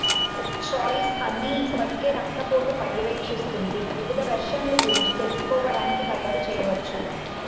choice అన్ని ఇప్పటికే రక్తపోటు పర్యవేక్షిస్తుంది వివిధ వెర్షన్లు గురించి తెలుసుకోవడానికి తయారు చేయవచ్చు